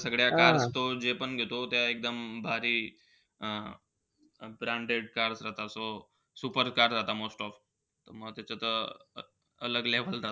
सगळ्या cars तो जेपण घेतो, त्या एकदम भारी, अं branded cars राहता. So super cars राहता most of. म त्याचं त level राहते.